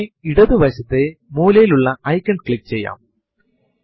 ഇത് വളരെയധികം വിപുലമായി Unix ലും Linux ലും ഉപയോഗിക്കുന്ന കമാൻഡ് ആണ്